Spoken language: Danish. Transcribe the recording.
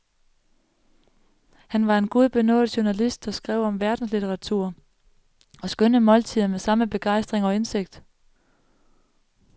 Han var en gudbenådet journalist, der skrev om verdenslitteratur og skønne måltider med samme begejstring og indsigt.